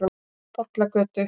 Bollagötu